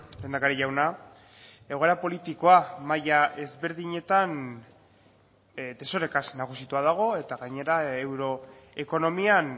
lehendakari jauna egoera politikoa maila ezberdinetan desorekaz nagusitua dago eta gainera euroekonomian